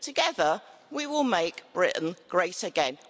Together we will make Britain great again.